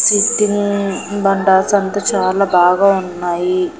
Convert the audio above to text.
Sitting బండాస్ అంతా చాలా బాగా ఉన్నాయి.